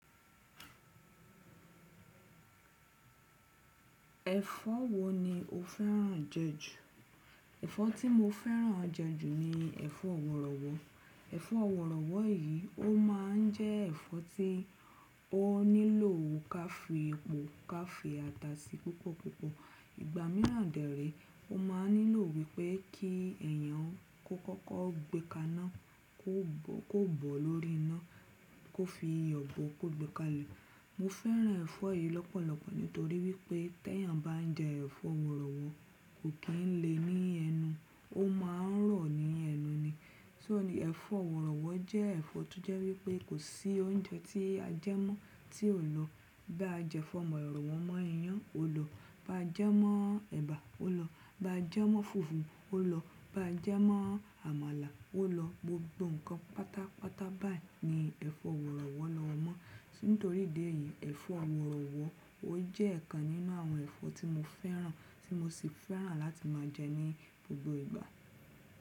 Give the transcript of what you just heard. Ẹ̀fọ́ wo ni o fẹ́ràn jẹ jù? Ẹ̀fọ́ tí mo fẹ́ràn jẹ jù ni ẹ̀fọ́ wọ̀rọ̀wọ́. Ẹ̀fọ́ wọ̀rọ̀wọ́ yìí ó máa ń jẹ́ ẹ̀fọ́ tí ó nílò ká fi epo, ká fi ata sí púpọ̀púpọ̀. Ìgbà míràn dẹ̀ rèé, ó máa ń nílò wípé kí èèyàn kó kọ́kọ́ gbe kaná, kó bò ó kó bò ó lórí iná, kó fi ìyọ̀ bò ó kó gbe kalẹ̀. Mo fẹ́ràn ẹ̀fọ́ yìí lọ́pọ̀lọpọ̀ nítorí wípé téèyàn bá ń jẹ ẹ̀fọ́ wọ̀rọ̀wọ́ kò kì í le ní ẹnu, ó máa ń rọ̀ ní ẹnu ni. So ni ẹ̀fọ́ wọ̀rọ̀wọ́ jẹ́ ẹ̀fọ́ tó jẹ́ wípé kò sí oúnjẹ tí a jẹẹ́ mọ́ tí ò lọ. Báa jẹ́fọ́ wọ̀rọ̀wọ́ mọ́ iyán, ó lọ. Bá jẹ́ mọ́ ẹ̀bà, ó lọ. Bá jẹ́ mọ́ fùfú, ó lọ. Bá jẹ́ mọ́ àmàlà, ó lọ. Gbogbo nǹkan pátápátá báyìí ni ẹ̀fọ́ wọ̀rọ̀wọ́ lọ mọ́ Nítorí idí èyí, ẹ̀fọ́ wọ̀rọ̀wọ́ ó jẹ́ ìkan nínú àwọn ẹ̀fọ́ tí mo fẹ́ràn, tí mo sì fẹ́ràn láti máa jẹ ní gbogbo ìgbà.